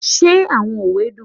Are the proverbs interesting?